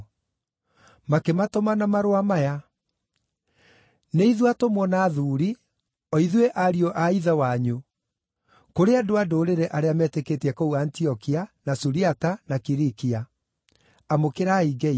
Makĩmatũma na marũa maya: Nĩ ithuĩ atũmwo na athuuri, o ithuĩ ariũ a Ithe wanyu, Kũrĩ andũ-a-Ndũrĩrĩ arĩa metĩkĩtie kũu Antiokia, na Suriata, na Kilikia: Amũkĩrai ngeithi.